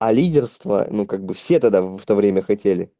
а лидерство ну как бы все тогда в то время хотели